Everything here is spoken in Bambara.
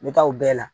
N bɛ taa o bɛɛ la